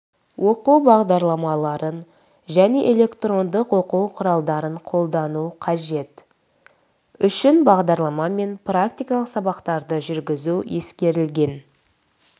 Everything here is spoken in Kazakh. оқыту бағдарламаларын және электрондық оқу құралдарын қолдану қажет үшін бағдарламамен практикалық сабақтарды жүргізу ескерілген